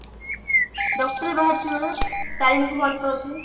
doctor ବାହାରିଥିବ ତାରେଣୀ କୁ ଭଲ ପାଉଥିବ